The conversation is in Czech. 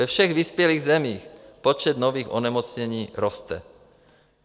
Ve všech vyspělých zemích počet nových onemocnění roste.